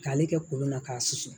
K'ale kɛ kolon na k'a susu